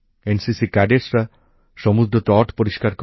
NCC ক্যাডেটসরা সমুদ্রতট পরিষ্কার করে